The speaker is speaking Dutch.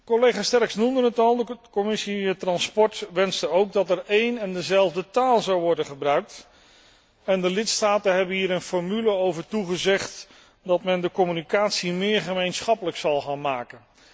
Collega Sterckx noemde het al, de Commissie vervoer wenste ook dat er een en dezelfde taal zou worden gebruikt en de lidstaten hebben hier een formule over toegezegd dat men de communicatie meer gemeenschappelijk zal gaan maken.